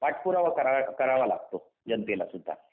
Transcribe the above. पाठपुरावा करावा लागतो जनतेलासुद्धा